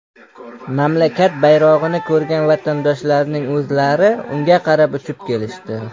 Mamlakat bayrog‘ini ko‘rgan vatandoshlarning o‘zlari unga qarab uchib kelishdi.